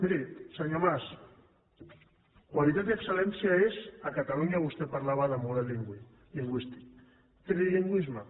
miri senyor mas qualitat i excel·lència és a catalunya vostè parlava de model lingüístic trilingüisme